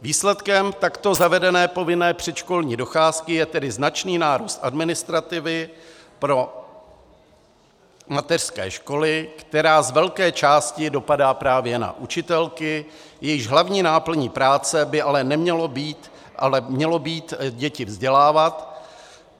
Výsledkem takto zavedené povinné předškolní docházky je tedy značný nárůst administrativy pro mateřské školy, která z velké části dopadá právě na učitelky, jejichž hlavní náplní práce by ale mělo být děti vzdělávat.